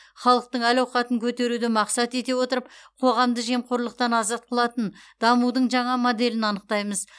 халықтың әл ауқатын көтеруді мақсат ете отырып қоғамды жемқорлықтан азат қылатын дамудың жаңа моделін анықтаймыз